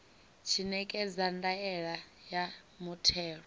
tshi ṋekedza ndaela ya muthelo